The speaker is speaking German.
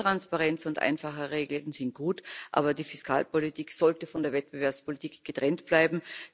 Mehr Transparenz und einfache Regeln sind gut, aber die Fiskalpolitik sollte von der Wettbewerbspolitik getrennt bleiben.